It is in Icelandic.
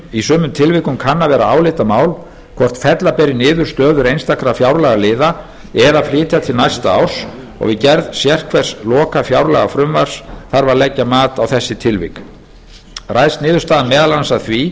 í sumum tilvikum kann að vera álitamál hvort fella beri niður stöður einstakra fjárlagaliða eða flytja til næsta árs og við gerð sérhvers lokafjárlagafrumvarps þarf að leggja mat á þessi tilvik ræðst niðurstaðan meðal annars af því